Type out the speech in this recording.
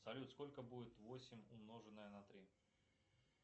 салют сколько будет восемь умноженное на три